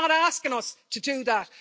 They're not asking us to do that.